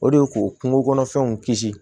O de ye k'o kungokɔnɔfɛnw kisi